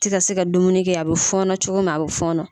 tɛ se ka dumuni kɛ a bɛ fɔɔnɔ cogo min a bɛ fɔɔnɔ